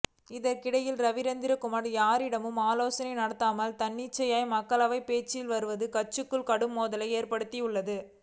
இதற்கிடையில் ரவீந்திரநாத்குமார் யாரிடமும் ஆலோசனை நடத்தாமல் தன்னிச்சையாக மக்களவையில் பேசி வருவதும் கட்சிக்குள் கடும் மோதலை ஏற்படுத்தியுள்ளது